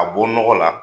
A bɔ nɔgɔ la